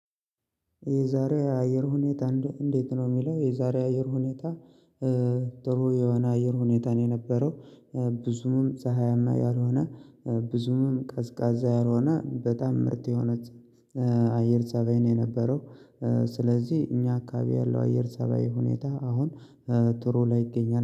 የዛሬ የአየር ሁኔታ እንዴት ነው የሚለው የዛሬ አየር ሁኔታ? ጥሩ የሆነ አየር ሁኔታ ነው የነበረው። ብዙም ፀሀያማ ያልሆነ ብዙም ቀዝቃዛ ያልሆነ በጣም ምርጥ የሆነ አየር ፀባይ ነው የነበረው። ስለዚህ እኛ አካባቢ ያለው አየር ፀባይ ሁኔታ አሁን ጥሩ ላይ ይገኛል